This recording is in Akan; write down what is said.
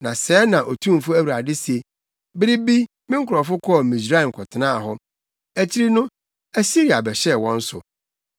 Na sɛɛ na Otumfo Awurade se: “Bere bi me nkurɔfo kɔɔ Misraim kɔtenaa hɔ; akyiri no Asiria bɛhyɛɛ wɔn so.